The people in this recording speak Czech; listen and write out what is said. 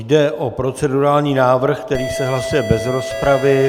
Jde o procedurální návrh, který se hlasuje bez rozpravy.